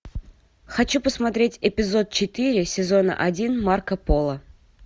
хочу посмотреть эпизод четыре сезона один марко поло